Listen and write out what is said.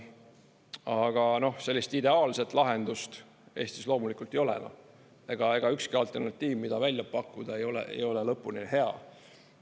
Aga sellist ideaalset lahendust Eestis loomulikult ei ole enam, ega ükski alternatiiv, mida välja pakkuda, ei ole lõpuni hea.